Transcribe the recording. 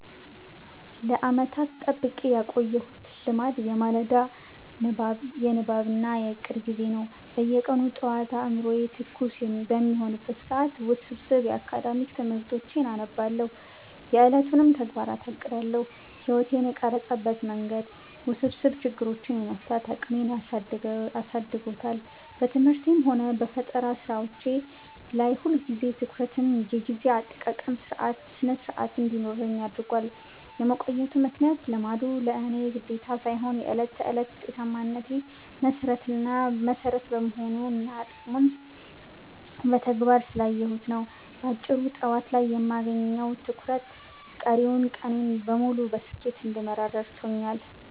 ለዓመታት ጠብቄ ያቆየሁት ልማዴ የማለዳ የንባብ እና የዕቅድ ጊዜ ነው። በየቀኑ ጠዋት አእምሮዬ ትኩስ በሚሆንበት ሰዓት ውስብስብ የአካዳሚክ ትምህርቶቼን አነባለሁ፤ የዕለቱንም ተግባራት አቅዳለሁ። ሕይወቴን የቀረጸበት መንገድ፦ ውስብስብ ችግሮችን የመፍታት አቅሜን አሳድጎታል። በትምህርቴም ሆነ በፈጠራ ሥራዎቼ ላይ ሁልጊዜም ትኩረትና የጊዜ አጠቃቀም ሥነ-ሥርዓት እንዲኖረኝ አድርጓል። የመቆየቱ ምክንያት፦ ልማዱ ለእኔ ግዴታ ሳይሆን የዕለት ተዕለት ውጤታማነቴ መሠረት በመሆኑና ጥቅሙን በተግባር ስላየሁት ነው። ባጭሩ፤ ጠዋት ላይ የማገኘው ትኩረት ቀሪውን ቀኔን በሙሉ በስኬት እንድመራ ረድቶኛል።